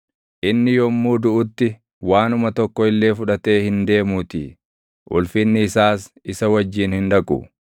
Inni yommuu duʼutti waanuma tokko illee fudhatee hin deemuutii; ulfinni isaas isa wajjin hin dhaqu.